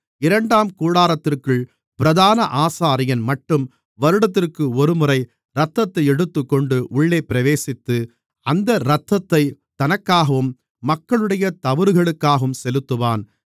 இரண்டாம் கூடாரத்திற்குள் பிரதான ஆசாரியன்மட்டும் வருடத்திற்கு ஒருமுறை இரத்தத்தை எடுத்துக்கொண்டு உள்ளே பிரவேசித்து அந்த இரத்தத்தைத் தனக்காகவும் மக்களுடைய தவறுகளுக்காகவும் செலுத்துவான்